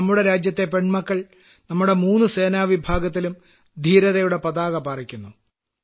ഇന്ന് നമ്മുടെ രാജ്യത്തെ പെൺമക്കൾ നമ്മുടെ മൂന്നു സേനാവിഭാഗത്തിലും ധീരതയുടെ പതാക പാറിക്കുന്നു